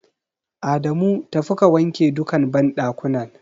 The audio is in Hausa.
Adamu tafi ka wanke duka banɗakunan.